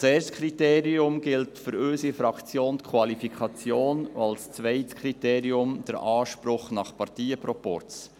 Als erstes Kriterium gilt für unsere Fraktion die Qualifikation, als zweites der Anspruch nach Parteienproporz.